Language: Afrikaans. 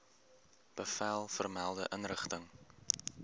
bevel vermelde inrigting